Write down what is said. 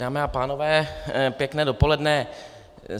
Dámy a pánové, pěkné dopoledne.